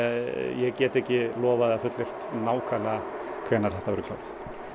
ég get ekki lofað eða fullyrt nákvæmlega hvenær þetta verður klárað